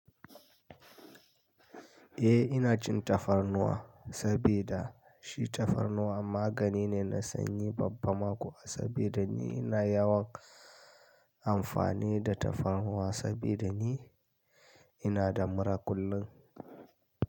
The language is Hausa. Eh ina cin tafarnuwa saboda shi tafarnuwa magani ne na sanyi, babban ma ƙuwa sabida ni ina yawan. Amfani da tafarnuwa saboda ni ina da mura kullum.